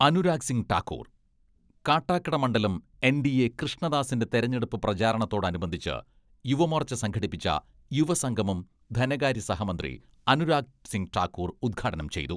അനുരാഗ് സിംഗ് ഠാക്കൂർ കാട്ടാക്കട മണ്ഡലം എൻ.ഡി.എ കൃഷ്ണദാസിന്റെ തെരഞ്ഞെടുപ്പ് പ്രചാരണത്തോടനുബന്ധിച്ച് യുവമോർച്ച സംഘടിപ്പിച്ച യുവസംഗമം ധനകാര്യ സഹ മന്ത്രി അനുരാഗ് സിംഗ് ഠാക്കൂർ ഉദ്ഘാടനം ചെയ്തു.